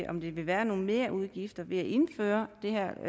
om der vil være nogen merudgifter ved at indføre det her